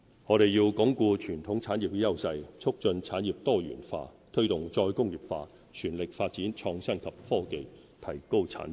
我們要鞏固傳統產業的優勢，促進產業多元化，推動"再工業化"，全力發展創新及科技，提高產值。